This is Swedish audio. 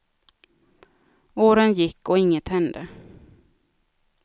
Åren gick, och inget hände.